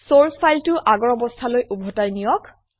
চৰ্চ ফাইলটো আগৰ অৱস্থালৈ ওভতাই নিয়ক